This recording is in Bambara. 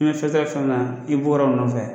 i bɔra nɔfɛ